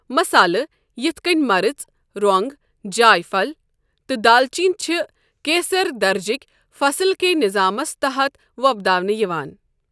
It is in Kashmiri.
مصالہٕ یِتھ کٔنۍ مَرٕچ، رۄنٛگ، جاے پَھل، تہٕ دالچیٖن چھِ کیثر درجے کی فصل کے نظامَس تحت وۄپداونہٕ یِوان۔